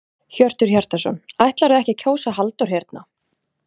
Hjörtur Hjartarson: Ætlarðu ekki að kjósa Halldór hérna?